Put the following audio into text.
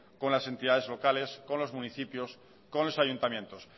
con las entidades locales con los municipios con los ayuntamientos